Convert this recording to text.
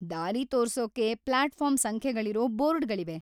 ದಾರಿ ತೋರ್ಸೋಕೆ ಪ್ಲಾಟ್‌ಫಾರ್ಮ್ ಸಂಖ್ಯೆಗಳಿರೋ ಬೋರ್ಡ್‌ಗಳಿವೆ.